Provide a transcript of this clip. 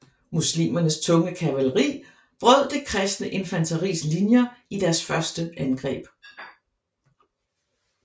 Muslimernes tunge kavaleri brød det kristne infanteris linjer i deres første angreb